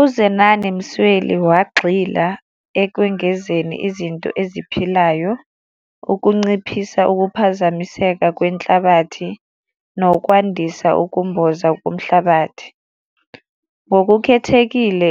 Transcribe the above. UZenani Msweli wagxila ekwengezeni izinto eziphilayo, ukunciphisa ukuphazamiseka kwenhlabathi nokwandisa ukumboza komhlabathi. Ngokukhethekile